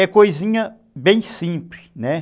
É coisinha bem simples, né?